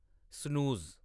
snooze